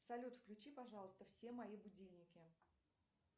салют включи пожалуйста все мои будильники